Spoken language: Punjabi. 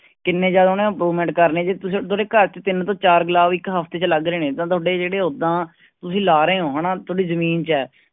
ਕਿੰਨੇ ਜ਼ਿਆਦਾ ਉਹਨੇ improvement ਕਰਨੀ, ਜੇ ਤੁਸੀਂ ਤੁਹਾਡੇ ਘਰ ਚ ਤਿੰਨ ਤੋਂ ਚਾਰ ਗੁਲਾਬ ਇੱਕ ਹਫ਼ਤੇ ਚ ਲੱਗ ਰਹੇ ਨੇ ਤਾਂ ਤੁਹਾਡੇ ਜਿਹੜੇ ਓਦਾਂ ਤੁਸੀਂ ਲਾ ਰਹੇ ਹੋ ਹਨਾ ਤੁਹਾਡੀ ਜ਼ਮੀਨ ਚ ਹੈ।